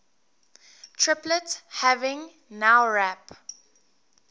triplet having nowrap